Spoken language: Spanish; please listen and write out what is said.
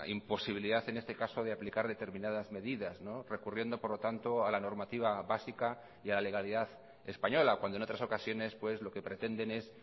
imposibilidad en este caso de aplicar determinadas medidas recurriendo por lo tanto a la normativa básica y a la legalidad española cuando en otras ocasiones lo que pretenden es